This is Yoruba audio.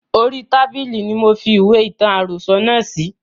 Orí tábìlì ni mofi ìwé ìtàn àròsọ̀ náà sí